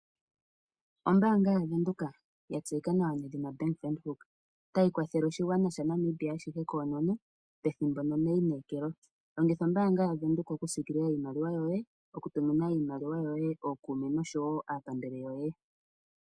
Ombaanga yaVenduka ya tseyika nawa nedhina Bank Windhoek, otayi kwathele oshigwana ashihe shaNamibia koonono pethimbo noneinekeko. Longitha ombaanga yaVenduka okusiikilila iimaliwa yoye okutumina iimaliwa yoye kookuume nosho wo aapambele yoye